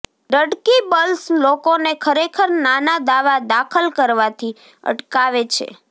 deductibles લોકોને ખરેખર નાના દાવા દાખલ કરવાથી અટકાવે છે